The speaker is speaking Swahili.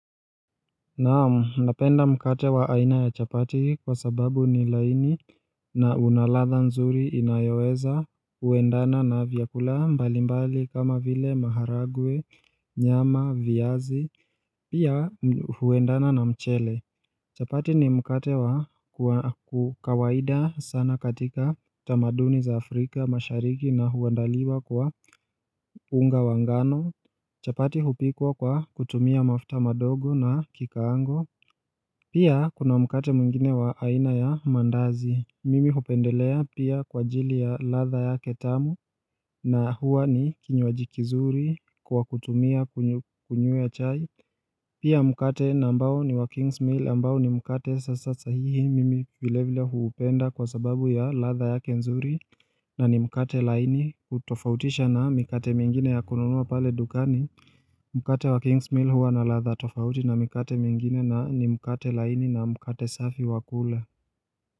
Naamu, napenda mkate wa aina ya chapati kwa sababu ni laini na unaladha nzuri inayoweza huendana na vyakula mbali mbali kama vile maharagwe, nyama, viazi, pia huendana na mchele. Chapati ni mkate wa kukawaida sana katika tamaduni za Afrika mashariki na huandaliwa kwa unga wa ngano. Chapati hupikwa kwa kutumia mafuta madogo na kikaango. Pia kuna mkate mingine wa aina ya mandazi. Mimi hupendelea pia kwa ajili ya ladha yake tamu na hua ni kinywaji kizuri kwa kutumia kunyue chai. Pia mkate nambao ni wa Kings Mill ambao ni mkate sasa sahihi mimi vile vile huupenda kwa sababu ya latha yake nzuri na ni mkate laini kutofautisha na mkate mingine ya kununua pale dukani. Mkate wa king's meal huwa na latha tofauti na mikate mingine na ni mkate laini na mkate safi wakula.